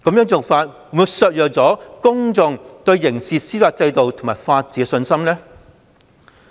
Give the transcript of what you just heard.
這做法會否削弱公眾對刑事司法制度及法治的信心呢？